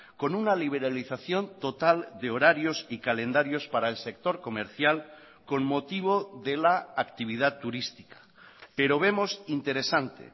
con una liberalización total de horarios y calendarios para el sector comercial con motivo de la actividad turística pero vemos interesante